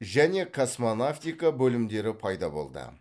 және космонавтика бөлімдері пайда болды